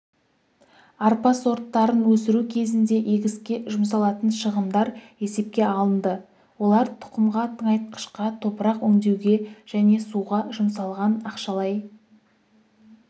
арпа сорттарын өсіру кезінде егіске жұмсалатын шығындар есепке алынды олар тұқымға тыңайтқышқа топырақ өңдеуге және суға жұмсалған ақшалай